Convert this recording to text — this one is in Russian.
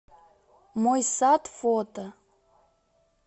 мой сад фото